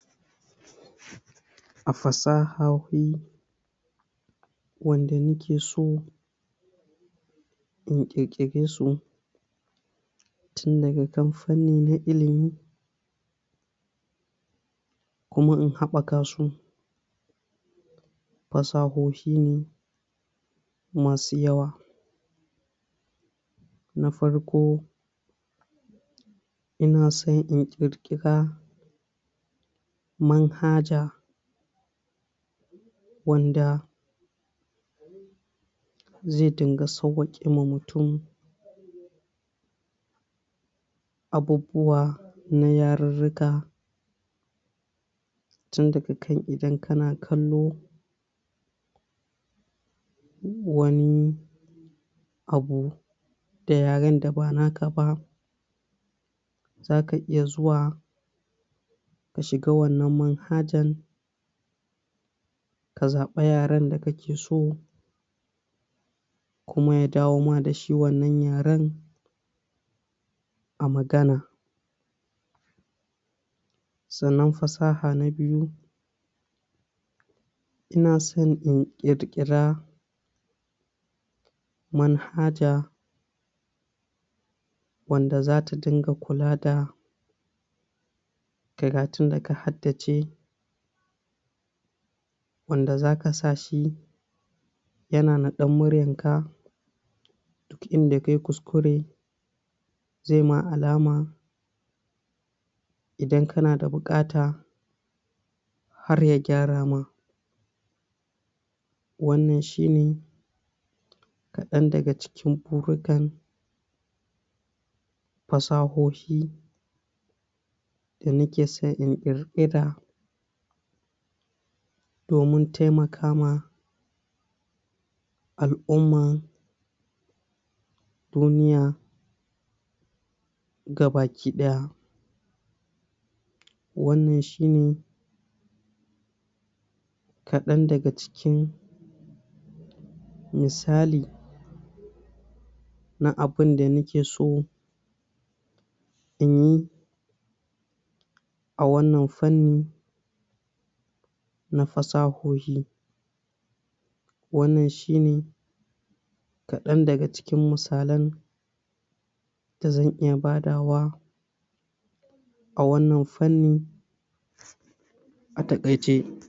A fasahohi wanda ni ke so in ƙirƙire su tun daga kan fanni na ilimi kuma in haɓaka su fasahohi ne ma su yawa na farko: Ina so in ƙirƙira manhaja wanda zai dunga sawwaƙewa mutum abubuwa na yarirrika tun daga kan idan ka na kallo wani abu da yaren da ba naka ba, za ka iya zuwa ka shiga wannan manhajan ka zaɓi yaren da ka ke so kuma ya dawo ma da shi wannan yaren a magana, sannan fasaha na biyu: Ina so in ƙirƙira manhaja wanda zata dinga kula da karatun da ka hardace wanda za ka sa shi ya na naɗar muryanka, inda kai kuskure zai ma alama, idan kanada buƙata har ya gyarama, wannan shine kaɗan daga cikin burikan fasahohi da nike son in ƙirƙira domin taimakama al'umman duniya ga baki ɗaya, wannan shine kaɗan daga cikin misali na abinda ni ke so in yi a wannan fanni na fasahohi, wanann shine kaɗan daga cikin misalan da zan iya badawa a wannan fanni a taƙaice.